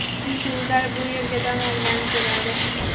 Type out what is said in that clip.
Chunki ular bu yerga dam olgani keladi.